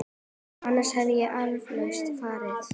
Annars hefði ég eflaust farið.